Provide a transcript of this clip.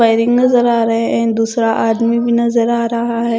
Pairing नजर आ रहे हैं दूसरा आदमी भी नजर आ रहा है।